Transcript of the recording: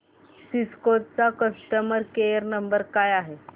Cisco चा customer care number काय आहे